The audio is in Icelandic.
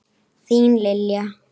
Þín Lilja.